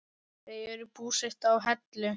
Þau eru búsett á Hellu.